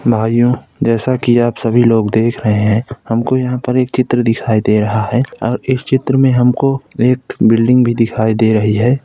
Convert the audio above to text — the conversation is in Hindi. भाइयों जैसा की आप सभी लोग देख रहे है | हमको यहाँ पर एक चित्र दिखाई दे रहा है और इस चित्र में हमको एक बिल्डिंग भी दिखाई दे रही है।